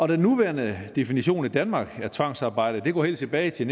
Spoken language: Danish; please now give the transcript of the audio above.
den nuværende definition i danmark af tvangsarbejde går helt tilbage til